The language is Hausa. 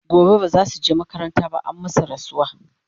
gobe bazasuje makaranta ba an masu rasuwa